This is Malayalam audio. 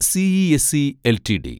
CESC LTD